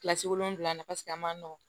Kilasi wolonwula na a man nɔgɔn